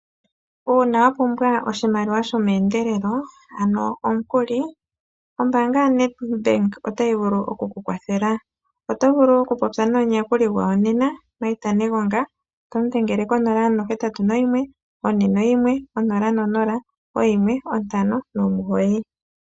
Uuna wa pumwa oshimaliwa shomeendelo ano omukuli, ombaanga ya Nedbank ota yi vulu oku ku kwathela oto vulu oku popya nomu yakuli gwawo nena, Maita Negonga, tomu dhengele ko 0814100159.